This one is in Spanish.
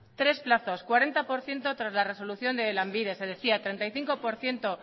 tres plazos cuarenta por ciento tras la resolución de lanbide se decía treinta y cinco por ciento